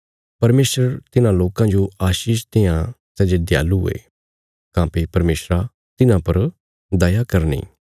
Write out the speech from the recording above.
परमेशर तिन्हां लोकां जो आशीष देआं सै जे दयालु ये काँह्भई परमेशरा तिन्हां पर दया करनी